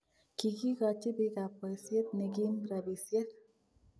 Kikikoochi biikaab boisyeet nekiim rabisyeek